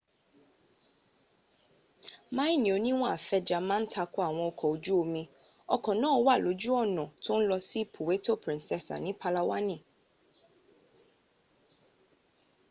maini oniwonn afenja ma n takoiwon oko oju omi oko naa wa loju ona to n lo si puweto princesa ni palawaani